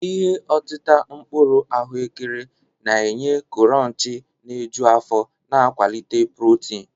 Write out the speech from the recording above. Ihe otita mkpuru ahụekere na-enye kuronchi na-eju afọ na nkwalite protin.